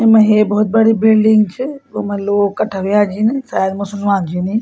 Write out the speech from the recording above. येमा हे भोत बड़ी बिल्डिंग च वमा लोग कट्ठा हुयां छिं शायद मुसलमान छिन यी।